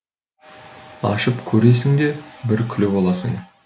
ашып көресің де бір күліп аласың